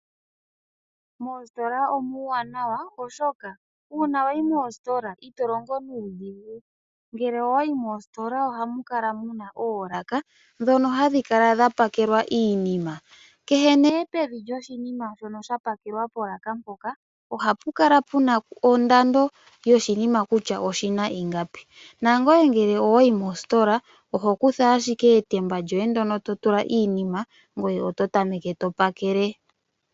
Moositola omuwanawa oshoka uuna wayi Moositola ito longo nuudhigu, Ngele owayi moositola ohamu kala muna oolaka ndhono hadhi kala dhapakelwa iinima . Kehe nee pevi lyoshinima shono sha pakelwa polaka mpoka ohapu kala puna ondando yoshinima kutya oshina ingapi ,nangoye ngele owayi moositola ohokutha ashike etemba lyoye ndono totula iinima ngoye oto tameke topakele.